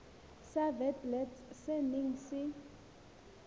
sa witblits se neng se